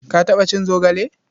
Ka taɓa cin zogale?